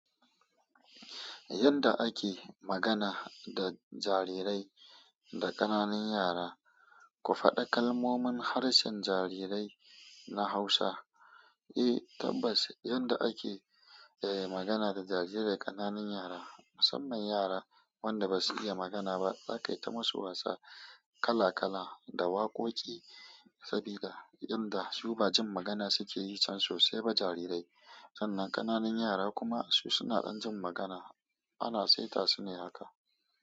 Yadda ake magana da jarirai da ƙananan yara, ku faɗa kalmomin harshen jarirai na Hausa. Eh tabbas, yadda ake magana da jarirai ƙananan yara, musamman yara wanda basu iya magana ba, za ka yi ta masu wasa kala kala da waƙoƙi. Sabida tunda su ba jin magana suke yi can sosai ba jarirai. Sannan ƙananan yara kuma su suna ɗan jin magana, ana saita su ne haka.